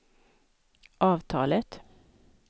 avtalet